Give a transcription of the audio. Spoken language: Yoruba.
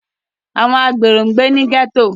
Àwọn àgbero ń gbé ní gẹ́tò